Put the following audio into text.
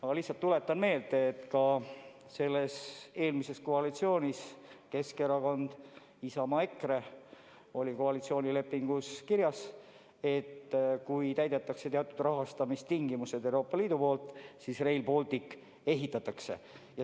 Ma lihtsalt tuletan meelde, et ka eelmises koalitsioonis – Keskerakond, Isamaa ja EKRE – oli koalitsioonilepingus kirjas, et kui Euroopa Liit täidab teatud rahastamistingimused, siis Rail Baltic ehitatakse.